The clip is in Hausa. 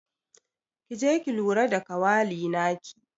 Ki je ki lura da kawali naki.